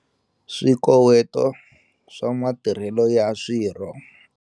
Swikoweto swa matirhelo ya swirho.